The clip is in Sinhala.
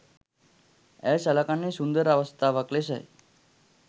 ඇය සළකන්නෙ සුන්දර අවස්ථාවක් ලෙසයි.